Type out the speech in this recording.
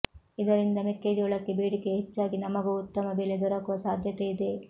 ಇದರಿಂದ ಮೆಕ್ಕೆಜೋಳಕ್ಕೆ ಬೇಡಿಕೆ ಹೆಚ್ಚಾಗಿ ನಮಗೂ ಉತ್ತಮ ಬೆಲೆ ದೊರಕುವ ಸಾಧ್ಯತೆಯಿದೆ